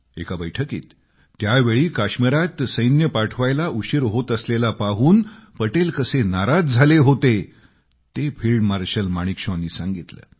एका बैठकीत त्या वेळी काश्मिरात सैन्य पाठवायला उशीर होत असलेला पाहून पटेल कसे नाराज झाले होते ते फिल्ड मार्शल माणिकशॉंनी सांगितलं